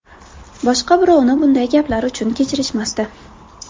Boshqa birovni bunday gaplar uchun kechirishmasdi.